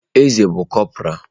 Eze bụ cọpora.